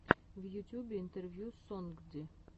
в ютьюбе интервью сонгди